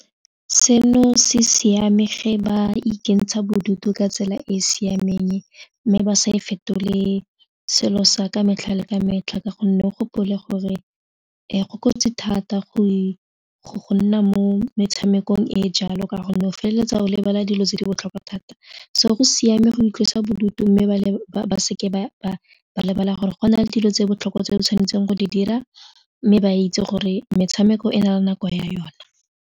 Seno se siame ge ba ikentsha bodutu ka tsela e e siameng mme ba sa e fetole selo sa ka metlha le ka metlha ka gonne o gopole gore go kotsi thata go nna mo metshamekong e jalo ka gonne o feleletsa o lebala dilo tse di botlhokwa thata so go siame go itlosa bodutu mme ba leba ba seke ba lebala gore go na le dilo tse di botlhokwa tse di tshwanetseng go di dira mme ba itse gore metshameko e na le nako ya yone.